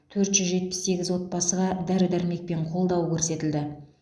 төрт жүз жетпіс сегіз отбасыға дәрі дәрмектен қолдау көрсетілді